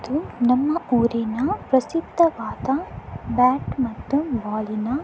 ಇದು ನಮ್ಮ ಊರಿನ ಪ್ರಸಿದ್ದವಾದ ಬ್ಯಾಟ್ ಮತ್ತು ಬಾಲ್ ನ--